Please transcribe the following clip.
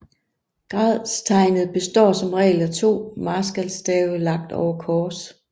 Gradstegnet består som regel af to marskalstave lagt over kors